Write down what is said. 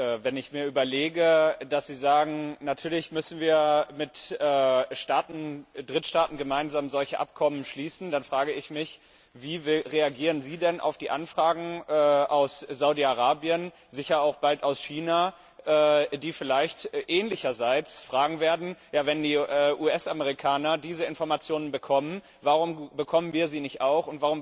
Aber wenn ich mir überlege, dass Sie sagen, natürlich müssen wir mit Drittstaaten gemeinsam solche Abkommen schließen, dann frage ich mich, wie reagieren Sie denn auf die Anfragen aus Saudi Arabien sicher auch bald aus China die vielleicht in ähnlicher Weise fragen werden, ja wenn die US Amerikaner diese Informationen bekommen, warum bekommen wir sie nicht auch?